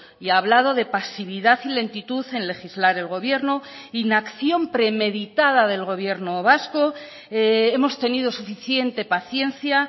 y ha hablado de pasividad y lentitud en legislar el gobierno inacción premeditada del gobierno vasco hemos tenido suficiente paciencia